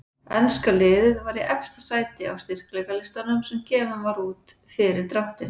Enska liðið var í efsta sæti á styrkleikalistanum sem gefinn var út fyrir dráttinn.